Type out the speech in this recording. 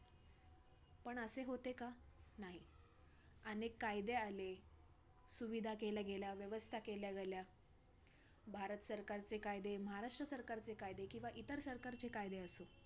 पण असे होते का? नाही, अनेक कायदे आले, सुविधा केल्या गेल्या, व्यवस्था केल्या गेल्या, भारत सरकारचे कायदे, महाराष्ट्र सरकारचे कायदे किंवा इतर सरकारचे कायदे असो